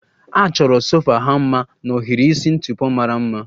A chọrọ sofa ha mma na ohiri isi ntụpọ mara mma